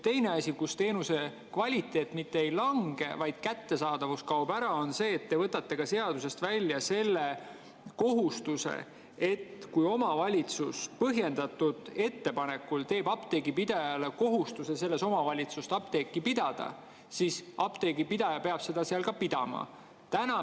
Teine asi, mille tõttu teenuse kvaliteet küll ei lange, aga kättesaadavus kaob ära, on see, et te võtate seadusest välja apteegipidaja kohustuse, et kui omavalitsus paneb talle põhjendatult kohustuse selles omavalitsuses apteeki pidada, siis ta peab seda seal pidama.